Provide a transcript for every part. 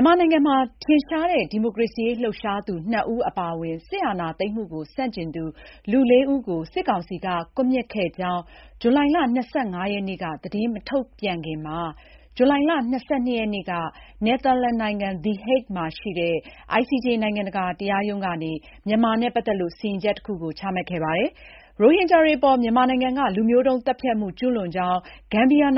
ြန်မာနိုင်ငံမှာ ထင်ရှားတဲ့ဒီမိုကရေစီရေးလှုပ်ရှားသူ နှစ်ဦးအပါအဝင် စစ်အာဏာသိမ်းမှုကိုဆန့်ကျင်သူ လေးဦးကို စစ်ကောင်စီက ကွပ်မျက်ခဲ့ကြောင်း ဇူလိုင် ၂၅ ရက်နေ့က သတင်းမထုတ်ပြန်ခင် ဇူလိုင် ၂၂ ရက်နေ့က နယ်သာလန်နိုင်ငံ the Hague မှာရှိတဲ့ ICJ နိုင်ငံတကာတရားရုံးက မြန်မာနဲ့ ပတ်သက်လို့ စီရင်ချက်တခု ချမှတ်ခဲ့တာပါ။ ရိုဟင်ဂျာတွေအပေါ် မြန်မာနိုင်ငံက လူမျိုးတုန်းသတ်ဖြတ်မှု ကျူးလွန်ကြောင်း ဂမ်ဘီယာ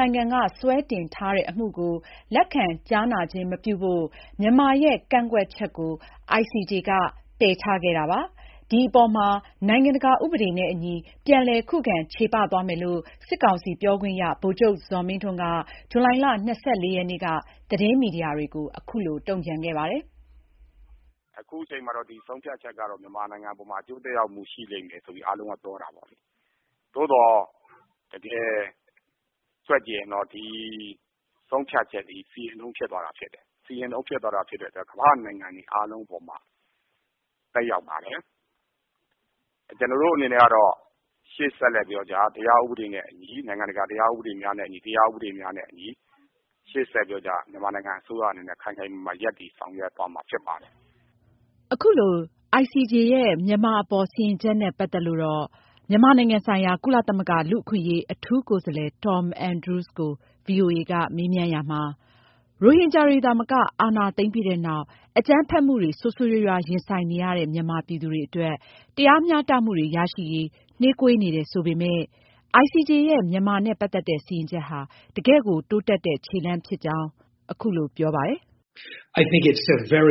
ကစွဲတင်ထားတဲ့အမှုကို လက်ခံကြားနာခြင်းမပြုဖို့ မြန်မာရဲ့ ကန့်ကွက်ချက်ကို ICJ က ပယ်ချခဲ့တာပါ။ ဒီအပေါ်မှာ နိုင်ငံတကာဥပဒေနဲ့ အညီ ပြန်လည် ခုခံချေပသွားမယ်လို့ စစ်ကောင်စီပြောခွင့်ရ ဗိုလ်ချုပ်ဇော်မင်းထွန်းက ဇူလိုင် ၂၄ ရက်နေ့က သတင်းမီဒီယာတွေကို အခုလို တုံံ့ပြန်ခဲ့ပါတယ်။ “အခုချိန်မှာတော့ ဒီ ဆုံးဖြတ်ချက်ကတော့ မြန်မာနိုင်ငံအပေါ်မှာ အကျိုးသက်ရောက်မှုရှိလိမ့်မယ်လို့တော့ အားလုံးကပြောတာပေါ့။ သို့သော် တကယ်တွက်ကြည့်ရင်တော့ ဒီဆုံးဖြတ်ချက်သည် စီရင်ထုံးဖြစ်သွားတာဖြစ်တယ်။ စီရင်ထုံးဖြစ်သွားတာဖြစ်တဲ့အတွက် ကမ္ဘာ့နိုင်ငံတွေအားလုံးအပေါ်မှာ သက်ရောက်လာမယ်။ ကျနော်တို့အနေနဲ့ကျတော့ ရှေ့ဆက်ပြီး တရားဥပဒေနဲ့အညီ၊ နိုင်ငံတကာ တရားဥပဒေများနဲ့အညီ မြန်မာနိုင်ငံအစိုးရအနေနဲ့ ခိုင်ခိုင်မာမာ ရပ်တည်ဆောင်ရွက်သွားမှာဖြစ်ပါတယ်။ ရိုဟင်ဂျာတွေသာမက အာဏာသိမ်းပြီးနောက် အကြမ်းဖက်မှုတွေ ဆိုးဆိုးရွားရွားရင်ဆိုင်နေရတဲ့ မြန်မာပြည်သူတွေအတွက် တရားမျှတမှုတွေရရှိရေးနှေးကွေးနေတယ်ဆိုပေမယ့် ICJ ရဲ့ မြန်မာနဲ့ ပတ်သက်တဲ့စီရင်ချက်ဟာ တကယ့်ကို တိုးတက်မှု ခြေလှမ်းဖြစ်တယ်လို့ မြန်မာနိုင်ငံဆိုင်ရာ ကု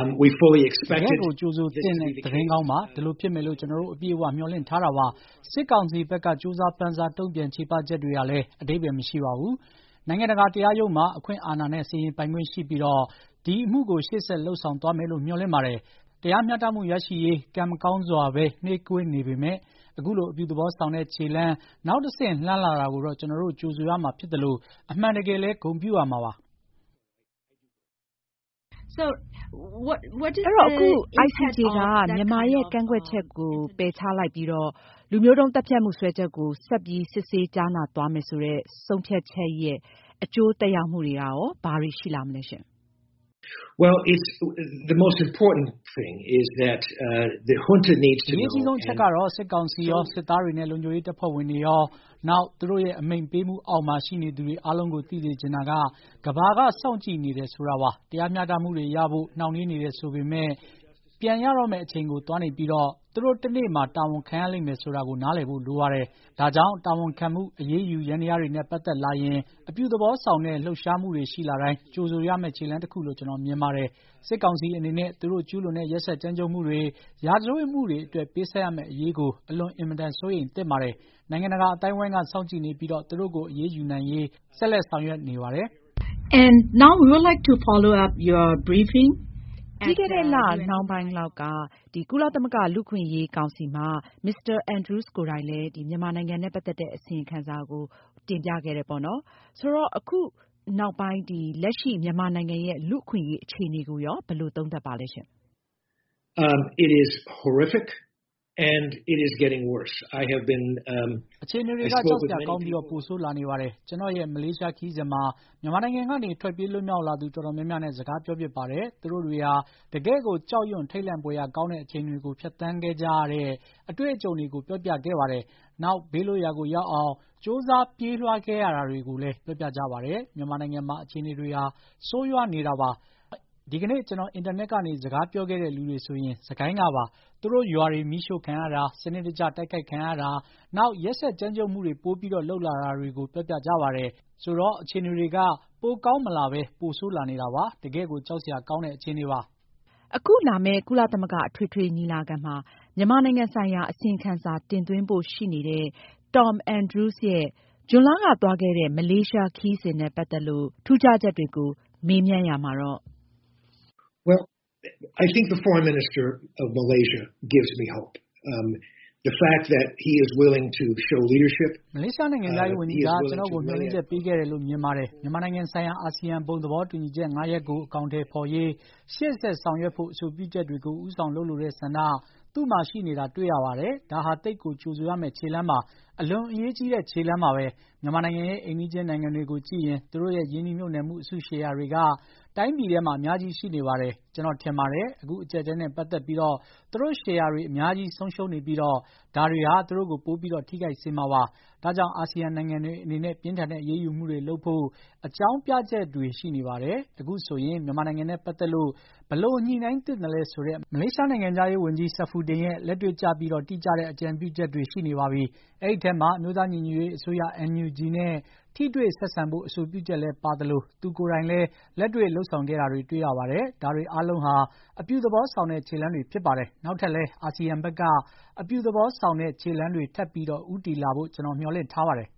လသမဂ္ဂလူ့အခွင့်အရေး အထူးကိုယ်စားလှယ် Tom Andrews က ဗွီအိုအေကို အခုလိုပြောပါတယ်။ “တကယ့်ကိုကြိုဆိုသင့်တဲ့ သတင်းကောင်းပါ။ ဒီလိုဖြစ်မယ်လို့ ကျနော်တို့ အပြည့် အဝမျှော်လင့်ထားတာပါ။ စစ်ကောင်စီဘက်က ကြိုးစားပမ်းစားတုံ့ပြန်ချေပချက်တွေဟာလည်း အဓိပ္ပါယ်မရှိပါဘူး။ နိုင်ငံတကာတရားရုံးမှာ အခွင့်အာဏာနဲ့ စီရင်ပိုင် ခွင့်ရှိပြီးတော့ ဒီအမှုကို ရှေ့ဆက်လုပ်ဆောင်သွားမယ်လို့ မျှော်လင့်ပါတယ်။ တရားမျှတမှုရရှိရေး ကံမကောင်းစွာပဲ နှေးကွေးနေပေမယ့် အခုလို အပြုသဘောဆောင်တဲ့ခြေလှမ်း နောက်တဆင့်လှမ်းလာတာကိုတော့ ကျနော်တို့ ကြိုဆိုရမှာဖြစ်သလို အမှန်တကယ်လည်း ဂုဏ်ပြုရမှာပါ။” အင်ကြင်းနိုင်။ ။ ဒီတော့ ICJ ကနေ မြန်မာရဲ့ ကန့်ကွက်ချက်တွေကို ပယ်ချလိုက်ပြီးတော့ လူမျိုးတုန်းသတ်ဖြတ်မှုစွဲချက်ကို ဆက်ပြီး စစ်ဆေးကြားနာသွားမယ်ဆိုတဲ့ ဆုံးဖြတ်ချက်ရဲ့အကျိုးသက်ရောက်မှုတွေက ဘာတွေရှိလာမလဲ။ Tom Andrews။ ။ အရေးကြီးဆုံးအချက်ကတော့ စစ်ကောင်စီရော စစ်သားတွေနဲ့ လုံခြုံရေးတပ်ဖွဲ့ဝင်တွေရော နောက် သူတို့ရဲ့ အမိန့်ပေးမှုအောက်မှာ ရှိနေသူအားလုံးကို သိစေချင်တာက ကမ္ဘာက စောင့်ကြည့်နေတယ်ဆိုတာပါ။ တရားမျှတမှုတွေရဖို့ နှောင့်နှေးနေတယ်ဆိုပေမယ့် ပြန်ရတော့မယ့်အချိန်ကိုသွားနေပြီး သူတို့ တနေ့မှာ တာဝန်ခံရလိမ့်မယ်ဆိုတာကို နားလည်ဖို့လိုပါတယ်။ ဒါကြောင့် တာဝန်ခံမှု၊ အရေးယူ ယန္တရားတွေနဲ့ ပတ်သက်လာရင် အပြုသဘောဆောင်တဲ့ လှုပ်ရှားမှုတွေရှိလာတိုင်း ကြိုဆိုရမယ့် ခြေလှမ်းတခုလို့ ကျနော်မြင်ပါတယ်။ စစ်ကောင်စီအနေနဲ့ သူတို့ကျူးလွန်တဲ့ ရက်စက်ကြမ်းကြုတ်မှုတွေ၊ ရာဇဝတ်မှုတွေအတွက် ပေးဆပ်ရမယ့်အရေးကို အလွန်အင်မတန်စိုးရိမ်သင့်ပါတယ်။ နိုင်ငံတကာအသိုင်းအဝိုင်းက စောင့်ကြည့်နေပြီး သူတို့ကို အရေးယူနိုင်ရေးဆက်လက်ဆောင်ရွက်နေပါတယ်။ အင်ကြင်းနိုင်။ ။ ပြီးခဲ့တဲ့လနှောင်းပိုင်းက ကုလသမဂ္ဂလူ့အခွင့်အရေးကောင်စီမှာ Tom Andrews အနေနဲ့ အစီရင်ခံစာတင်ပြပြီးတဲ့နောက် လက်ရှိ မြန်မာနိုင်ငံရဲ့ လူ့အခွင့်အရေးအခြေအနေကို ဘယ်လိုသုံးသပ်လဲ။ Tom Andrews ။ ။ အခြေအနေတွေက ကြောက်စရာကောင်းပြီး ပိုဆိုးလာနေပါတယ်။ ကျနော်ရဲ့ မလေးရှားခရီးစဉ်မှာ မြန်မာနိုင်ငံကနေ ထွက်ပြေးလွတ်မြောက် လာသူတော်တော်များများနဲ့ စကားပြောဖြစ်ပါတယ်။ သူတို့တွေဟာ တကယ့်ကို ကြောက်ရွံ့ထိတ်လန့်ဖွယ်ရာကောင်းတဲ့ အချိန်တွေကို ဖြတ်သန်းခဲ့ကြရတဲ့ အတွေ့အကြုံတွေကို ပြောပြခဲ့ကြတယ်။ နောက် ဘေးလွတ်ရာကို ရောက်အောင်ကြိုးစားပြေးလွှားခဲ့ကြရတာတွေကိုလည်း ပြောပြကြပါတယ်။ မြန်မာနိုင်ငံမှာ အခြေအနေတွေဟာ ဆိုးရွားနေတာပါ။ ဒီကနေ့ ကျနော် အင်တာနက်ကနေ စကားပြောခဲ့တဲ့လူတွေဆိုရင် စစ်ကိုင်းကပါ။ သူတို့ရွာတွေ မီးရှို့ခံရတာ၊ စနစ်တကျတိုက်ခိုက်ခံရတာ၊ နောက် ရက်စက်ကြမ်းကြုတ်မှုတွေ ပိုပြီးလုပ်လာတာတွေကို ပြောပြကြပါတယ်။ ဆိုတော့ အခြေအနေတွေက ပိုကောင်းမလာပဲ ပိုဆိုးလာနေတာပါ။ တကယ့်ကို ကြောက်စရာကောင်းတဲ့ အခြေအနေပါ။ အခုလာမယ့် ကုလသမဂ္ဂအထွေထွေညီလာခံမှာ မြန်မာနိုင်ငံဆိုင်ရာအစီရင်ခံစာတင်သွင်းဖို့ရှိနေတဲ့ Tom Andrews ရဲ့ ဇွန်လက သွားခဲ့တဲ့ မလေးရှားခရီးစဉ်နဲ့ ပတ်သက်လို့ ထူးခြားချက်တွေ နဲ့ ပတ်သက်လို့လည်း သူက အခုလိုပြောပါတယ်။ “မလေးရှားနိုင်ငံခြားရေးဝန်ကြီးက ကျနော့်ကို မျှော်လင့်ချက်ပေးခဲ့တယ်လို့ မြင်ပါတယ်။ မြန်မာနိုင်ငံဆိုင်ရာ အာဆီယံ ဘုံသဘောတူညီချက်ငါးရပ်ကို အကောင်အထည်ဖေါ်ရေး ရှေ့ဆက်ဆောင်ရွက်ဖို့ အဆိုပြုချက်တွေကို ဦးဆောင်လုပ်လိုတဲ့ ဆန္ဒ သူ့မှာရှိနေတာတွေ့ရပါတယ်။ ဒါဟာ သိပ်ကို ကြိုဆိုရမယ့် ခြေလှမ်းပါ။ အလွန် အရေးကြီးတဲ့ ခြေလှမ်းပါပဲ။ မြန်မာနိုင်ငံရဲ့ အိမ်နီးချင်းနိုင်ငံတွေကြည့်ရင် သူတို့ ရဲ့ ရင်းနှီးမြှုပ်နှံမှု အစုရှယ်ယာတွေက တိုင်းပြည်ထဲမှာ အများကြီးရှိနေပါတယ်။ ကျနော်ထင်တယ်၊ အခုအကျပ်အတည်းနဲ့ ပတ်သက်ပြီး သူတို့ရှယ်ယာတွေ အများဆုံးရှိနေပြီးတော့ ဒါတွေဟာ သူတို့ကို ပိုပြီး ထိခိုက်စေမှာဖြစ်ပါတယ်။ ဒါကြောင့် အာဆီယံနိုင်ငံတွေအနေနဲ့ ပြင်းထန်တဲ့အရေးယူမှုတွေလုပ်ဖို့ အကြောင်းပြချက်တွေရှိနေပါတယ်။ အခုဆိုရင် မြန်မာနိုင်ငံနဲ့ပတ်သက်လို့ ဘယ်လိုညှိုနှိုင်းသင့်သလဲဆိုတဲ့ မလေးရှားနိုင်ငံခြားရေးဝန်ကြီး Saifuddin ရဲ့ လက်တွေ့ကျပြီး တိကျတဲ့ အကြံပြုချက်တွေရှိနေပါပြီ။ အဲဒီထဲမှာ အမျိုးသားညီညွတ်ရေးအစိုးရ NUG နဲ့ ထိတွေ့ဆက်ဆံဖို့ အဆိုပြုချက်လည်းပါသလို သူကိုယ်တိုင်လည်း လက်တွေ့လုပ်ဆောင်ခဲ့တာတွေ့ရပါတယ်။ ဒါတွေအားလုံးဟာ အပြုသဘောဆောင်တဲ့ ခြေလှမ်းတွေဖြစ်ပါတယ်။ နောက်ထပ်လည်း အာဆီယံဘက်က အပြုသဘောဆောင်တဲ့ ခြေလှမ်းတွေထပ်ပြီးဦးတည်လာဖို့ ကျနော်မျှော်လင့်ထားပါတယ်